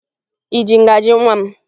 Ị ji ngaji nwa m?